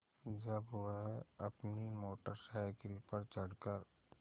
जब वह अपनी मोटर साइकिल पर चढ़ कर